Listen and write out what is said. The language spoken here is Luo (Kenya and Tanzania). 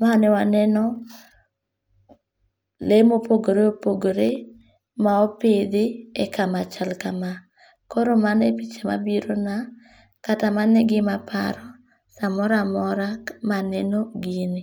kaenewaneno lee mopogore opogore ma opithi e kama chal kama, koro mano e gima birona kata mano e gimaparo samoro amora ma aneno gini.